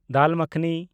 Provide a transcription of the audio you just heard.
ᱫᱟᱞ ᱢᱟᱠᱷᱱᱤ